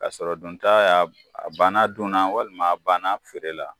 Ka sɔrɔ don ta ya , a banna don na walima a ban na feere la.